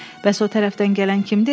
Bəs o tərəfdən gələn kimdir elə?